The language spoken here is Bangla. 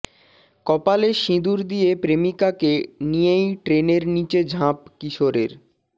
কপালে সিঁদুর দিয়ে প্রেমিকাকে নিয়েই ট্রেনের নিচে ঝাঁপ কিশোরের